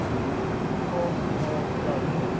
gaan na jou